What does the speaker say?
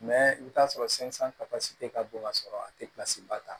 i bɛ t'a sɔrɔ ka bon ka sɔrɔ a tɛ ba ta